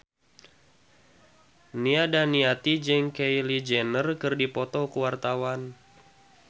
Nia Daniati jeung Kylie Jenner keur dipoto ku wartawan